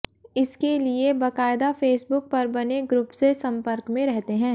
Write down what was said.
इसके लिए बकायदा फेसबुक पर बने ग्रुप से संपर्क में रहते हैं